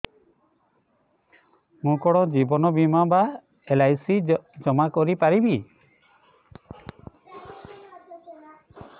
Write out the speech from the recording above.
ମୁ କଣ ଜୀବନ ବୀମା ବା ଏଲ୍.ଆଇ.ସି ଜମା କରି ପାରିବି